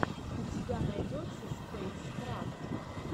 у тебя найдется спэйскрафт